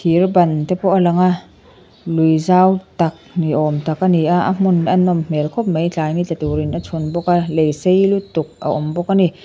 thirban te pawh a lang a lui zau tak ni awm tak a ni a a hmun a nawm hmel khawp mai tlai ni tla tur in a chhun bawk a lei sei lutuk a awm bawk a ni.